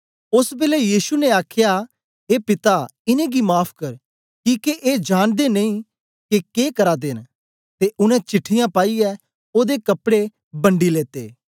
ओस बेलै यीशु ने आखया ए पिता इन्नें गी माफ़ कर किके ए जांनदे नेई के के करा दे न ते उनै चिट्ठीयां पाईयै ओदे कपड़े बंडी लेते